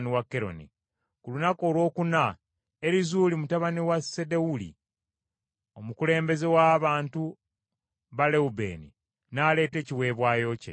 Ku lunaku olwokuna Erizuuli mutabani wa Sedewuli, omukulembeze w’abantu ba Lewubeeni, n’aleeta ekiweebwayo kye.